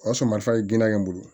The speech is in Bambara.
O y'a sɔrɔ marifa ye giriya n bolo